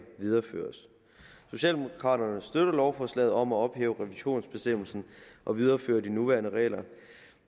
videreføres socialdemokraterne støtter lovforslaget om at ophæve revisionsbestemmelsen og videreføre de nye nuværende regler